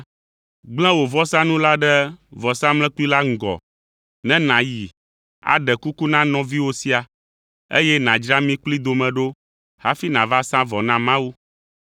gblẽ wò vɔsanu la ɖe vɔsamlekpui la ŋgɔ ne nàyi aɖe kuku na nɔviwò sia, eye nàdzra mi kplii dome ɖo hafi nàva sa vɔ na Mawu.